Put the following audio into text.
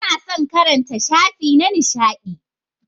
Tana son karanta shafi na nishadi.